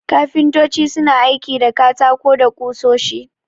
Kafintoci suna aiki da katako da ƙusoshi.